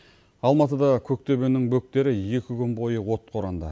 алматыда көктөбенің бөктері екі күн бойы отқа оранды